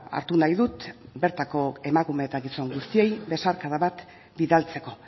hartu nahi dut bertako emakume eta gizon guztioi besarkada bat bidaltzeko